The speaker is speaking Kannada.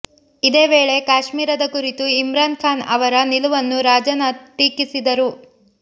ಇದೇ ವೇಳೆ ಕಾಶ್ಮೀರದ ಕುರಿತು ಇಮ್ರಾನ್ ಖಾನ್ ಅವರ ನಿಲುವನ್ನು ರಾಜನಾಥ್ ಟೀಕಿಸಿದರು